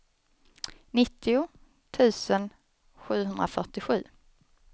nittio tusen sjuhundrafyrtiosju